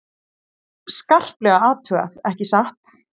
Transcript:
Skarplega athugað, ekki satt?